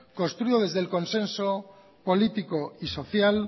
construido desde el consenso político y social